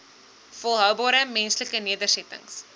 volhoubare menslike nedersettings